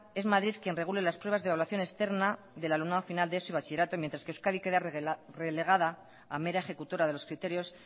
es madrid quien regula las pruebas de evaluación externa del alumnado final de eso y bachillerato mientras que euskadi queda relegada a mera ejecutora de los criterios